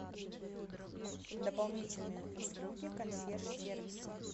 дополнительные услуги консьерж сервиса